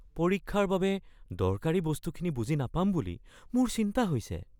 পৰীক্ষাৰ বাবে দৰকাৰী বস্তুখিনি বুজি নাপাম বুলি মোৰ চিন্তা হৈছে।